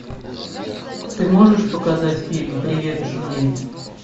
ты можешь показать фильм привет джули